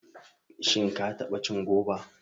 Shin ka taɓa cin goba?